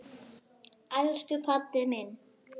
Elsku Baddi minn.